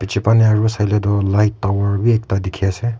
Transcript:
biji baneh aro saile tu light tower b ekta diki ase.